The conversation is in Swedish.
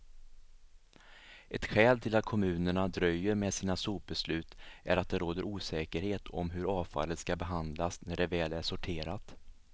Ett skäl till att kommunerna dröjer med sina sopbeslut är att det råder osäkerhet om hur avfallet skall behandlas när det väl är sorterat.